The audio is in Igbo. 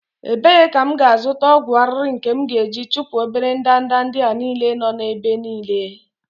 ebee ka m ga-azụta ọgwụ arịrị nke m ga-eji chụpụ obere ndanda ndị a niile nọ n'ebe niile?